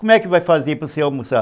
Como é que vai fazer para você almoçar?